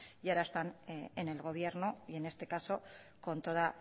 y ahora están en el gobierno y en este caso con toda